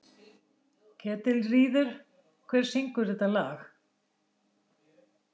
Ketilríður, hver syngur þetta lag?